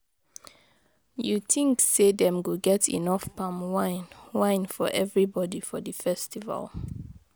You tink say dem go get enough palm wine wine for everybody for di festival?